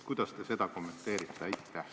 Kuidas te seda kommenteerite?